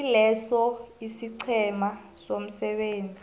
kileso isiqhema somsebenzi